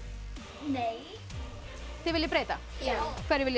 nei þið viljið breyta já hverju viljið